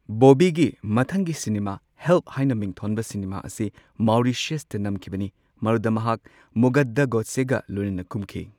ꯕꯣꯕꯤꯒꯤ ꯃꯊꯪꯒꯤ cinema, help ꯍꯥꯏꯅ ꯃꯤꯡꯊꯣꯟꯕ ꯁꯤꯅꯦꯃꯥ ꯑꯁꯤ ꯃꯥꯎꯔꯤꯁꯤꯌꯁꯇ ꯅꯝꯈꯤꯕꯅꯤ꯫ ꯃꯗꯨꯗ ꯃꯍꯥꯛ ꯃꯨꯒꯙꯥ ꯒꯣꯗꯁꯦꯒ ꯂꯣꯏꯅꯅ ꯀꯨꯝꯈꯤ꯫